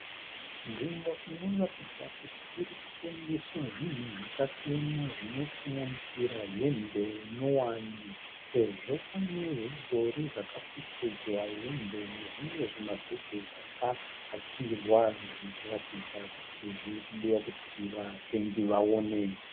Nzvimbo inoratidza kuti iri kutengeswa zvinhu zvakasiyana zvinosanganisira hembe nyowani, sezvo pane zvidhori zvakapfekedzwa hembe nezvimwe zvimabhegi zvakahakirwa kuratidza zviri kudiwa kuti vatengi vaone.